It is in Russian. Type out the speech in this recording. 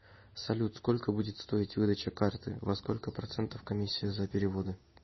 салют сколько будет стоить выдача карты во сколько процентов комиссия за переводы